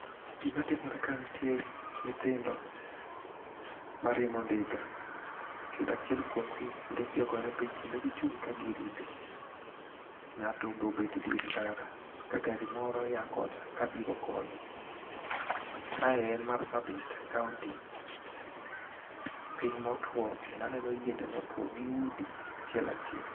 Gima timore ka ntie nyithindo mariembo ndiga kendo achiel kuomgi ndike ogore piny kendo gichung' ka girite. Ng'ato bobet e dier ndara ka gari moro ya kocha kabiro koni. Kae en marsabit county piny motwo, kendo aneno yiende motwo gi udi achiel achiel.